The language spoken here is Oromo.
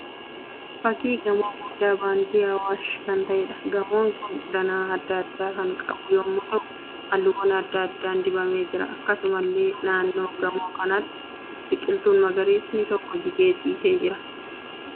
Fakkii gamoo guddaa baankii Hawwaash kan ta'eedha. Gamoon kun danaa adda addaa kan qabu yemmuu ta'u, halluuwwan adda addaan dibamee jira. Akkasumallee naannoo gamoo kanaatti biqiltuun magariisni tokko jigee ciisaa jira.